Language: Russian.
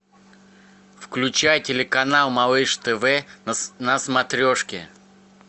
включай телеканал малыш тв на смотрешке